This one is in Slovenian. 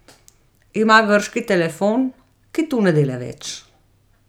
Ima grški telefon, ki tu ne dela več.